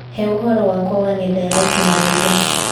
he ũhoro wakwa wa nenda ya ũkĩnyaniria